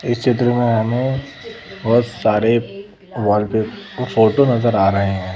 इस चित्र में हमें बहुत सारे वॉल पे फोटो नजर आ रहे हैं ।